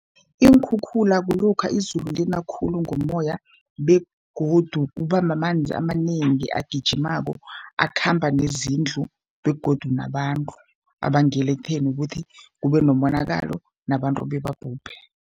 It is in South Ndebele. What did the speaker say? Iinkhukhula kulokha izulu lina khulu ngomoya begodu kuba mamanzi amanengi agijimako, akhamba nezindlu begodu nabantu. Abangela ekutheni kuthi kube nomonakalo nabantu bebabhubhe.